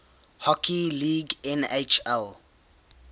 hockey league nhl